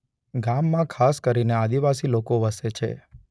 ગામમાં ખાસ કરીને આદિવાસી લોકો વસે છે.